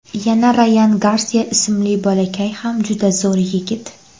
Yana Rayan Garsiya ismli bolakay ham juda zo‘r yigit.